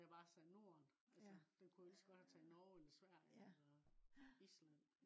når jeg bare sagde norden. altså den kunne ligeså godt have taget norge eller sverige eller island